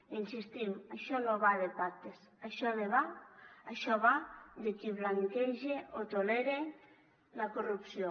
hi insistim això no va de pactes això va de qui blanqueja o tolera la corrupció